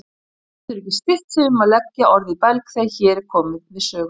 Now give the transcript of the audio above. Getur ekki stillt sig um að leggja orð í belg þegar hér er komið sögu.